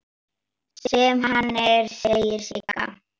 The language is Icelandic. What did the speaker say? Sem hann er, segir Sigga.